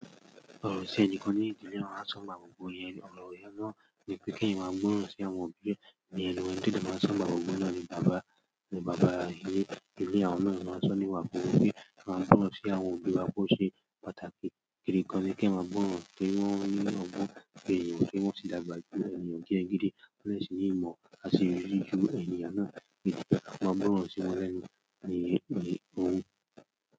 O ro si ẹnikàn ni, ìdílé wọn a sọ nígbà wọ yẹn, ọrọ yẹn na ni pe ki ẹyàn màà gbọrọ si àwọn òbí ẹẹ, ni ẹnù wọn ti èmi màà ń sọ nìgbà mò gbọ nà ni baba, ni baba ile, ile àwọn náà ni wọn màà ń tùn nì ìwà bùrùkù yèn ààmọ tùn kìì àwọn òbí wa pò ṣe pàtàkì, kiri kan ni ki wọn gbọwọ ran si wọn, ki wọn ni ọgbọn ènìyàn, ki wọn si lagbaju ènìyàn diẹ n gidi, ki wọn le si ni ìmọ̀ aṣeyiri ju ènìyàn náà ṣe, ki wọn gbọwọ ran si wọn lẹ́nu ni ohun.